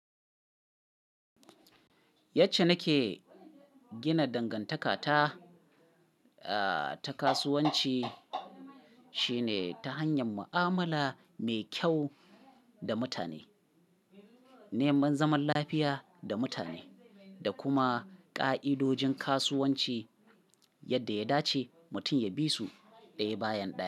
Yace nake gina dangantaka ta, ah ta kasuwanci shine ta hanyar mu'amala mai kyau da mutane, neman zaman lafiya da mutane, da kuma ƙa'idojin kasuwanci yadda ya dace mutum ya bi su ɗaya bayan ɗaya.